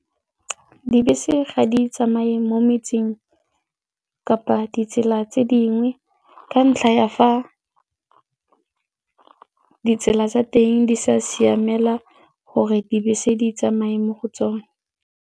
Dibese ga di tsamaye mo metseng kapa ditsela tse dingwe ka ntlha ya fa ditsela tsa teng di sa siamela gore dibese di tsamaye mo go tsone.